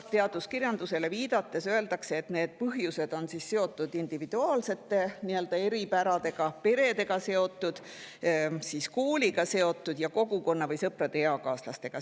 Teaduskirjandusele viidates öeldakse, et need põhjused on seotud individuaalsete eripäradega, perega, kooliga, kogukonnaga või sõprade ja eakaaslastega.